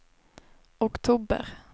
oktober